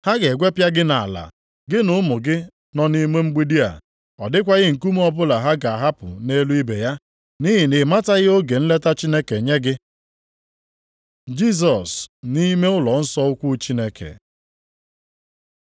Ha ga-egwepịa gị nʼala, gị na ụmụ gị nọ nʼime mgbidi a, ọ dịkwaghị nkume ọbụla ha ga-ahapụ nʼelu ibe ya, nʼihi na ị mataghị oge nleta Chineke nye gị.” Jisọs nʼime ụlọnsọ ukwu Chineke